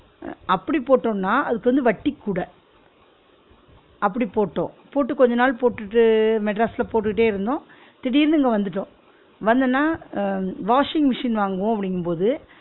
அப்டி போட்டோன்னா அதுக்கு வந்து வட்டி கூட அப்டி போட்டோம், போட்டு கொஞ்ச நாள் போட்டுட்டு மெட்ராஸ்ல போட்டுட்டே இருந்தோம் திடிர்னு இங்க வந்துட்டோம், வந்தனா அஹ் washing machine வாங்குவோம் அப்டிங்கும் போது